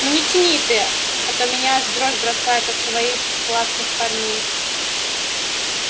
ну не тяни ты а то меня аж в дрожь бросает от своих классных парней